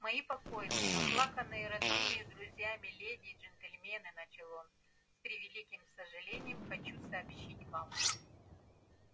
мои покойные оплаканные родными и друзьями леди и джентльмены начал он с превеликим сожалением хочу сообщить вам